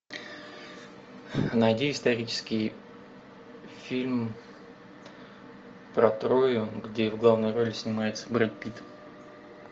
найди исторический фильм про трою где в главной роли снимается бред питт